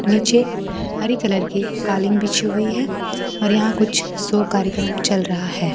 नीचे हरी कलर की कालीन बिछी हुई है और यहां कुछ शो कार्यक्रम चल रहा है।